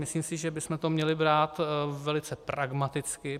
Myslím si, že bychom to měli brát velice pragmaticky.